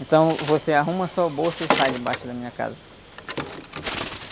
Então você arruma sua bolsa e sai debaixo da minha casa.